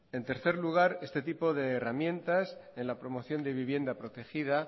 en tercer lugar este tipo de herramientas en la promoción de vivienda protegida